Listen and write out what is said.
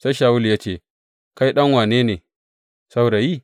Sai Shawulu ya ce, Kai ɗan wane ne, saurayi?